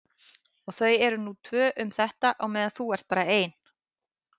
Og þau eru nú tvö um þetta á meðan þú ert bara ein.